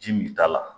Ji min t'a la